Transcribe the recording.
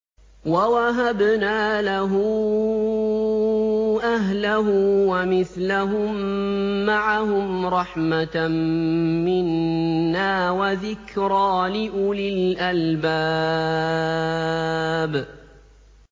وَوَهَبْنَا لَهُ أَهْلَهُ وَمِثْلَهُم مَّعَهُمْ رَحْمَةً مِّنَّا وَذِكْرَىٰ لِأُولِي الْأَلْبَابِ